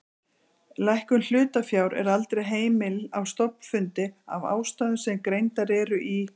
Lækkun hlutafjár er aldrei heimil á stofnfundi af ástæðum sem greindar eru í